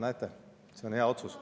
Näete, see on hea otsus.